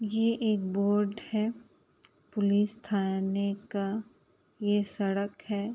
ये एक बोर्ड है पुलिस थाने का। ये सड़क है।